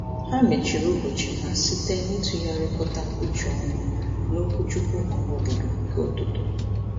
Ha mechiri ụbọchị ha site n'ịtụgharịkọta uche ọnụ n'okwuchukwu ọhaobodo nke ụtụtụ.